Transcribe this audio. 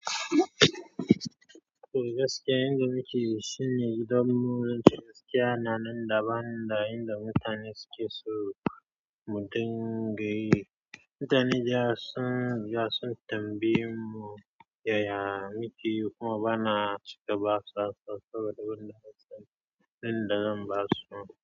Toh gaskiya inda mukeyi, shine idan mu gaskiya. Na nan daban da yanda mutane suke so mu dinga yi. Mutane dayawa sun riga sun tambaye mu yaya mukeyi kuma bana cika ba su. Saboda banda amsan da zan ba su.